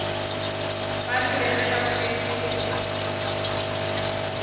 ba rile ge ba šetše